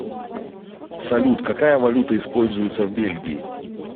салют какая валюта используется в бельгии